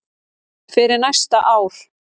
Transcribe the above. fyrir næsta ár.